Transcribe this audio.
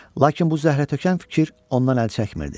Lakin bu zəhrətökən fikir ondan əl çəkmirdi.